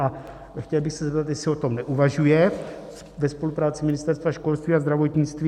A chtěl bych se zeptat, jestli o tom neuvažuje ve spolupráci ministerstev školství a zdravotnictví.